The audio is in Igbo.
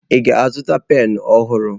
Ị ga-azụta penụ ọhụrụ?